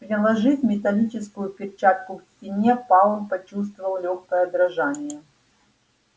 приложив металлическую перчатку к стене пауэлл почувствовал лёгкое дрожание